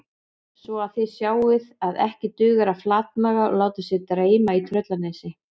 Svo að þið sjáið að ekki dugar að flatmaga og láta sig dreyma í Tröllanesi